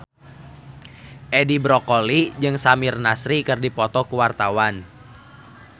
Edi Brokoli jeung Samir Nasri keur dipoto ku wartawan